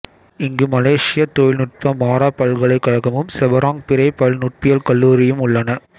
இங்கு மலேசியத் தொழில்நுட்ப மாரா பல்கலைக்கழகமும் செபராங் பிறை பல்நுட்பியல் கல்லூரியும் உள்ளன